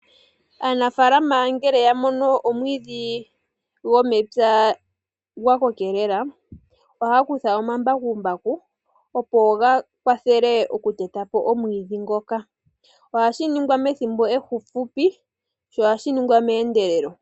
Aanafaalama ngele ya mono omwiidhi gomepya gwa kokelela, ohaya kutha omambakumbaku opo ga kwathele okuteta po omwiidhi ngoka. Ohashi ningwa methimbo efupi sho ohashi ningwa meendelelo.